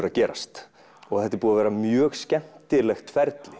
að gerast þetta er búið að vera mjög skemmtilegt ferli